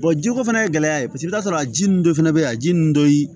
jiko fana ye gɛlɛya ye paseke i bi t'a sɔrɔ a ji nun dɔ fɛnɛ bɛ yen a ji ninnu dɔ yi